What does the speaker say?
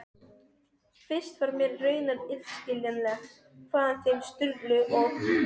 Fyrst var mér raunar illskiljanlegt hvaðan þeim Sturlu og